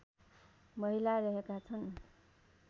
महिला रहेका छन्